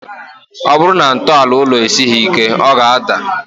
Ọ bụrụ na ntọala ụlọ esighi ike, ọ ga-ádà